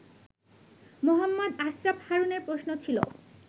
মোহাম্মদ আশরাফ হারুনের প্রশ্ন ছিল